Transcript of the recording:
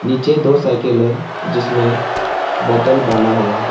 नीचे दो साइकिल है। जिसमें बोतल बना हुआ है।